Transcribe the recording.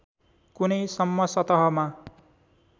कुनै सम्म सतहमा